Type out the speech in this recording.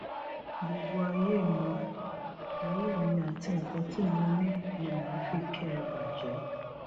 gbogbo ayé mi ayé mi àti nǹkan tí mo ní ni mà á fi kẹ ẹ bàjẹ